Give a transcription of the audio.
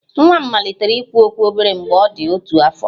Nwa m malitere ikwu okwu obere mgbe ọ dị otu afọ